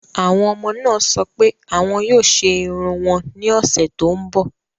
Àwọn ọmọ náà sọ pé àwọn yóò ṣe irun wọn ní ọ̀sẹ̀ tó ń bọ̀.